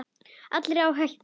Allir á hættu.